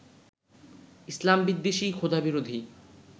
ইসলামবিদ্বেষী, খোদাবিরোধী